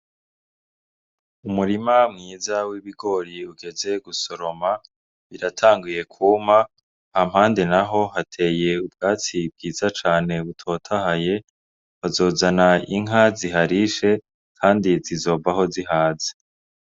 Umurima mwiza w'ibigori ugeze gusoroma, biratanguye kwuma, hampande naho hateye ubwatsi bwiza cane butotahaye, bazozana inka ziharishe kandi zizovaho zihaze.